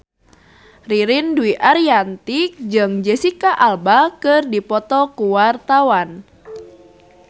Ririn Dwi Ariyanti jeung Jesicca Alba keur dipoto ku wartawan